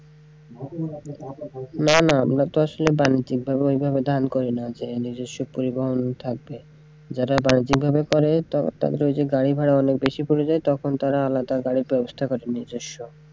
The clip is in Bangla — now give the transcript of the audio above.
না না আমরা তো আসলে বাণিজ্যিক ভাবে ওইভাবে ধান করিনা যে নিজস্ব পরিবহন করবে, যারা বাণিজ্যিক ভাবে করে তাদেরকে গাড়ি ভাড়া অনেক বেশি পড়ে যায় তখন তারা আলাদা গাড়ির বেবস্থা করে নিজস্ব।